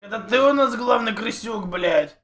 это ты у нас главный крысюк блять